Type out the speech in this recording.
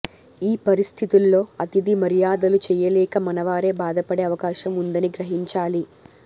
ఈ పరిస్థితుల్లో అతిథి మర్యాదలు చేయలేక మనవారే బాధపడే అవకాశం ఉందని గ్రహించాలి